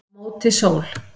Á móti sól